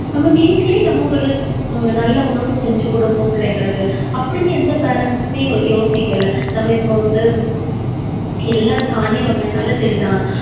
நம்ம வீட்டிலேயே நம்ம ஹம் ஒரு நல்ல உணவு செஞ்சு கொடுப்போம் பிள்ளைங்களுக்கு. அப்படின்னு, எந்த parents மே யோசிக்கல. நம்ம இப்ப வந்து எல்லா தானிய வகைனாலும் சரிதான்.